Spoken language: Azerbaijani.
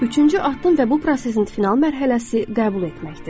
Üçüncü addım və bu prosesin final mərhələsi qəbul etməkdir.